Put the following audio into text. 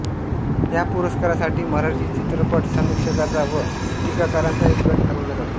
ह्या पुरस्कारासाठी मराठी चित्रपट समीक्षकांचा व टीकाकारांचा एक गट ठरवला जातो